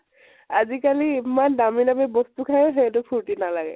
আজিকালি ইমান দামি দামি বস্তু খাইয়ো সেইটো ফুৰ্তি নালাগে ।